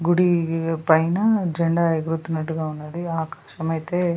గుడి పైన జెండా ఎగురుతున్నటుగా ఉన్నది ఆకాశమైతే --